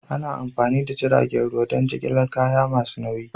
Ana amfani da jiragen ruwa don jigilar kaya masu nauyi.